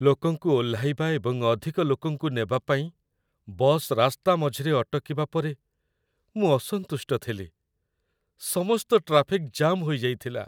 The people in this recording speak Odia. ଲୋକଙ୍କୁ ଓହ୍ଲାଇବା ଏବଂ ଅଧିକ ଲୋକଙ୍କୁ ନେବା ପାଇଁ ବସ୍ ରାସ୍ତା ମଝିରେ ଅଟକିବା ପରେ ମୁଁ ଅସନ୍ତୁଷ୍ଟ ଥିଲି। ସମସ୍ତ ଟ୍ରାଫିକ୍ ଜାମ୍ ହୋଇଯାଇଥିଲା।